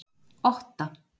Otta